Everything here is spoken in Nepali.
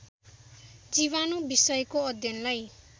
जीवाणु विषयको अध्ययनलाई